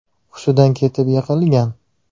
hushidan ketib, yiqilgan.